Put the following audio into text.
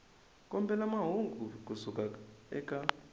kombela mahungu ku suka eka